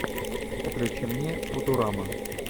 включи мне футурама